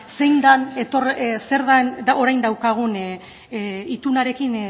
zer den orain daukagun itunarekin